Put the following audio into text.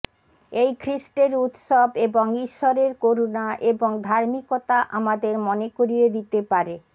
এই খ্রীষ্টের উত্সব এবং ঈশ্বরের করুণা এবং ধার্মিকতা আমাদের মনে করিয়ে দিতে পারে